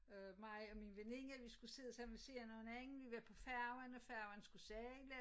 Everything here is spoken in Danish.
Øh mig og min veninde vi skulle sidde sammen ved siden af hinanden vi var på færgen og færgen skulle sejle